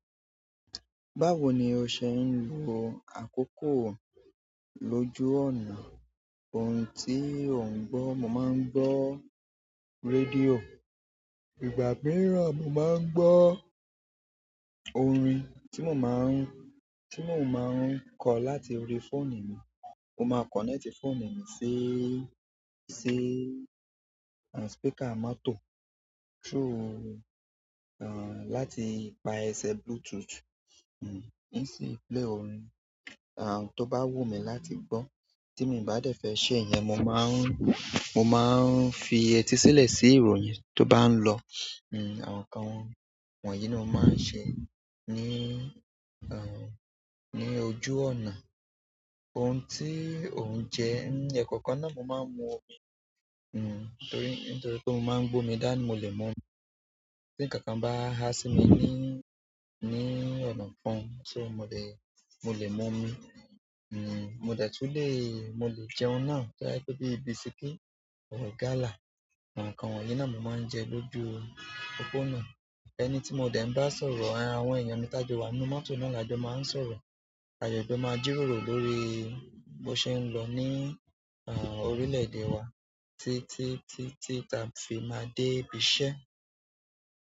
Báwo ni o ṣe ń lo àkókò lóju ọ̀nà? Ohun tí ò ń gbọ́, mo máa ń gbọ́ radíò. Ìgbà mìíràn mo máa ń gbọ́ orin tí mo máa ń, tí mo máa ń kọ̀ láti orí fóònù mi. Mo máa kọ̀nẹ́ẹ̀tì fóònù mi sí, sí, àn, spíkà mọ́tò through, àn, láti ipa ẹsẹ̀ Bluetooth, hm, n si play orin, àn, tó bá wù mí láti gbọ́ tí mi bá dẹ̀ fẹ́ se yẹn mo máa ń, mo máa ń fi etí sílẹ̀ sí ìròyìn tó bá ń lọ. Hm àwọn nǹkan wọ̀nyí ni mo maa n se ni ojú ọ̀nà. Ohun tí ò ń jẹ, n, ẹ̀kọ̀kan náà mo máa ń mú omi, hm, torí, nítorí pé mo máa ń gbómi dání mo le mú omi. Tí nkankan bá há sí mi ní, ní ọ̀nà kán, so mo lè, mo lè mú omi. Hm, mo dẹ̀ tun lè, mo lè jẹun ná, to ba jẹ bí i bisikí tàbí gala. Àwọn nǹkan wọ̀nyí náà mo máa ń jẹ lójú popónà. Ẹni tí mo dẹ̀ ń bá sọ̀rọ̀, àwọn èèyàn mi tajọ wà nínú mọ́tò náà lajọ máa ń sọ̀rọ̀. A le fẹ máa jíròrò lórí bó ṣe ń lọ ní, à, orílẹ̀-èdè wa tí, tí, tí, tí a fi máa de ibi iṣẹ́.